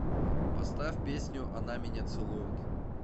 поставь песню она меня целует